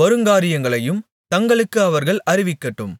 வருங்காரியங்களையும் தங்களுக்கு அவர்கள் அறிவிக்கட்டும்